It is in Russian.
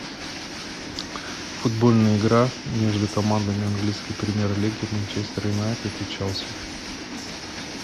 футбольная игра между командами английской премьер лиги манчестер юнайтед и челси